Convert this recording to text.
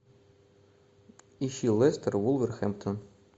ищи лестер вулверхэмптон